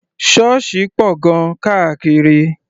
Ṣọ́ọ̀ṣì pọ̀ gan-an káàkiri.